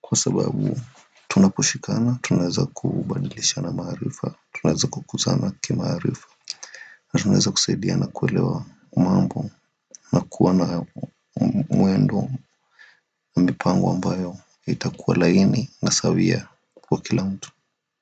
Kwa sababu tunaposhikana tunaeza kubadilishana maharifa, tunaeza kukuzana kimaarifa. Alafu uneza kusaidia na kuelewa mambo. Kuwa na muendo lipangu ambayo itakuwa laini na sawia kwa kila mtu. Kwa hivyo.